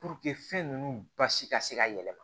fɛn ninnu basi ka se ka yɛlɛma